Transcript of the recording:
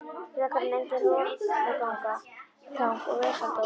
Frekar en eigin rolugang og vesaldóm.